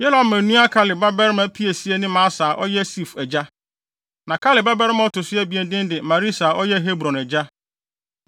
Yerahmeel nua Kaleb babarima piesie ne Mesa a ɔyɛ Sif agya. Na Kaleb babarima a ɔto so abien din de Maresa a ɔyɛ Hebron agya.